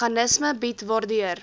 meganisme bied waardeur